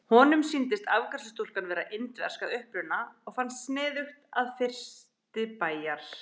Honum sýndist afgreiðslustúlkan vera indversk að uppruna og fannst sniðugt að fyrsti bæjar